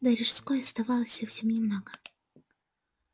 до рижской оставалось совсем немного